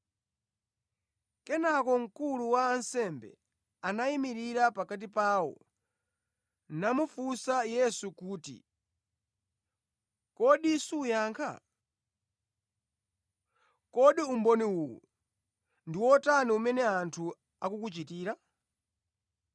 Kenaka mkulu wa ansembe anayimirira pakati pawo namufunsa Yesu kuti, “Kodi suyankha? Kodi umboni uwu ndi wotani umene anthu akukuchitira?”